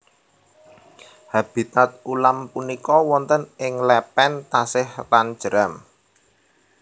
Habitat ulam punika wonten ing lepen tasik lan jeram